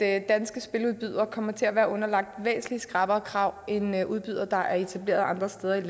at danske spiludbydere kommer til at være underlagt væsentlig skrappere krav end udbydere der er etableret andre steder